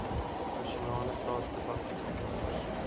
nasionale staatsdepartemente ondersoek